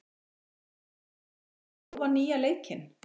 Erin, hefur þú prófað nýja leikinn?